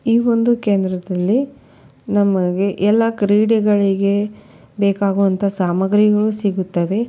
ಈ ಒಂದು ಕೇಂದ್ರದಲ್ಲಿ ನಮಗೆ ಎಲ್ಲಾ ಕ್ರೀಡೆಗಳಿಗೆ ಬೇಕಾಗುವಂತಹ ಸಾಮಗ್ರಿಗಳು ಸೀಗುತ್ತದೆ.